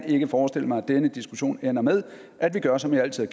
ikke forestille mig at denne diskussion ender med at vi gør som vi altid